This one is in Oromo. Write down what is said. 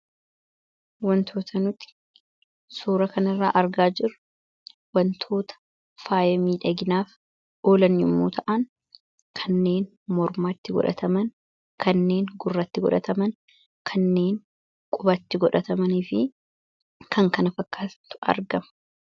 wantoota nuti suura kanirraa argaa jiru wantoota faayamii dhaginaaf oolan yommuu ta'an kanneen mormaatti godhataman kanneen gurratti godhataman kanneen qubatti godhatamaniifi kan kana fakkaastu argama